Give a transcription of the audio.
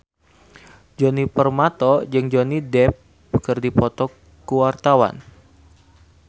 Djoni Permato jeung Johnny Depp keur dipoto ku wartawan